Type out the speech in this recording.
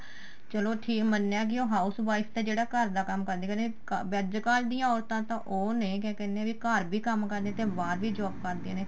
ਚਲੋ ਠੀਕ ਮੰਨਿਆ ਕੀ ਜਿਹੜਾ ਉਹ house wife ਤਾਂ ਜਿਹੜਾ ਘਰ ਦਾ ਕੰਮ ਕਰਦੀ ਕਰਦੀ ਵੀ ਅੱਜਕਲ ਦੀ ਔਰਤਾ ਤਾਂ ਉਹ ਨੇ ਕਿਆ ਕਹਿਨੇ ਆ ਵੀ ਘਰ ਵੀ ਕੰਮ ਕਰਦੀਆ ਨੇ ਤੇ ਬਾਹਰ ਵੀ job ਕਰਦੀਆਂ ਨੇ